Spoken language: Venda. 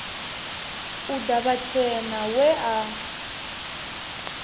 u ḓa vhatshena we a